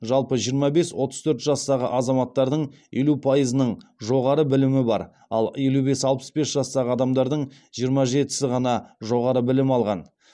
жалпы жиырма бес отыз төрт жастағы азаматтардың елу пайызының жоғары білімі бар ал елу бес алпыс бес жастағы адамдардың жиырма жетісі ғана жоғары білім алған